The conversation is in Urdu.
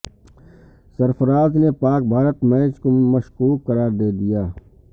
سرفراز نے پاک بھارت میچ کو مشکوک قرار دے دیا